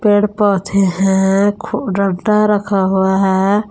पेड़ पौधे हैं रखा हुआ है।